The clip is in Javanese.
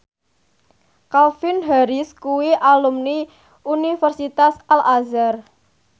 Calvin Harris kuwi alumni Universitas Al Azhar